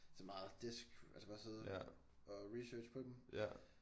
Så meget desk altså bare sidde og research på dem